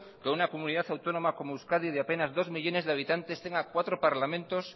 que una comunidad autónoma como euskadi de apenas dos millónes de habitantes tenga cuatro parlamentos